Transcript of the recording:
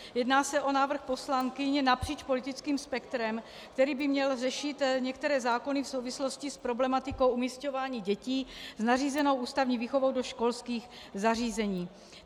Jedná se o návrh poslankyň napříč politickým spektrem, který by měl řešit některé zákony v souvislosti s problematikou umísťování dětí s nařízenou ústavní výchovou do školských zařízení.